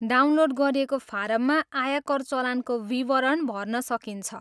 Download गरिएको फारममा आयकर चलानको विवरण भर्न सकिन्छ।